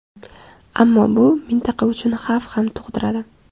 Ammo bu mintaqa uchun xavf ham tug‘diradi.